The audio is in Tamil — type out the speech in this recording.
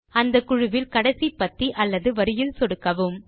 அந்த குழுவில் கடைசி பத்தி அல்லது வரியில் சொடுக்கவும்